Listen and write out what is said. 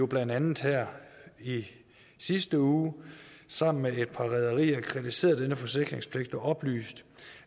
blandt andet her i sidste uge sammen med et par rederier kritiseret denne forsikringspligt og har oplyst